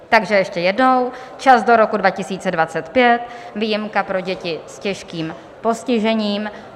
Takže ještě jednou - čas do roku 2025, výjimka pro děti s těžkým postižením.